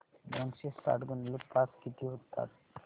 दोनशे साठ गुणिले पाच किती होतात